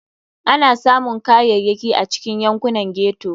Ana samun Kayayyaki a cikin yankunan ghetto.